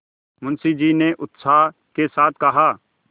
मुंशी जी ने उत्साह के साथ कहा